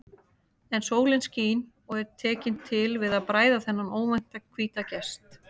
En sólin skín og er tekin til við að bræða þennan óvænta hvíta gest.